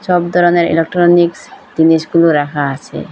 ছব ধরনের ইলেকট্রনিক্স জিনিসগুলো রাখা আছে।